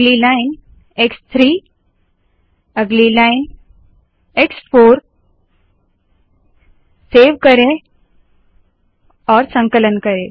अगली लाइन एक्स3 अगली लाइन एक्स4 सेव करे संकलन करे